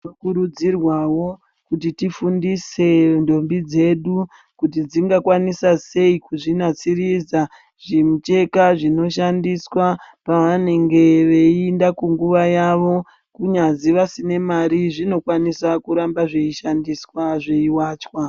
Tinokurudzirwawo kuti tifundise ntombi dzedu kuti dzingakwanisa sei kudzinasiridza zvimucheka zvinoshandiswa pavanenge veienda kunguwa yavo kunyazi vasina mare zvinokwanisa kuramba zveishandiswa zveiwachwa.